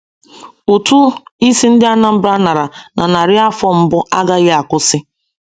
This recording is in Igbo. Ụtụ isi ndị Anambra nara na narị afọ mbụ agaghị akwụsị.